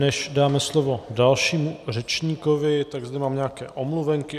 Než dáme slovo dalšímu řečníkovi, tak zde mám nějaké omluvenky.